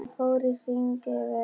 Hann fór í hring yfir